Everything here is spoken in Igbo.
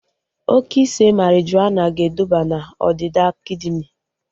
Oke ise marijuana ga eduba na ọdịda kidini